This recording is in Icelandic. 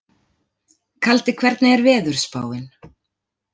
Kaldi, hvernig er veðurspáin?